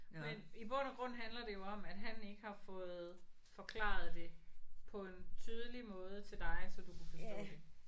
Men i bund og grund handler det jo om at han ikke har fået forklaret det på en tydelig måde til dig så du kunne forstå det